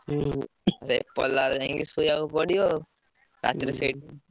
ହୁଁ ସେ ପଲା ରେ ଯାଇ ଶୋଇବାକୁ ପଡିବ ଆଉ ରାତିରେ ସେଇଠି।